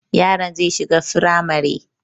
Yaron zai shiga firamare